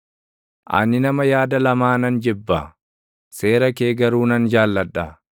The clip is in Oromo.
Ani nama yaada lamaa nan jibba; seera kee garuu nan jaalladha.